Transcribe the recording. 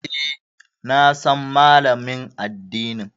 E, na san Malamin addinin.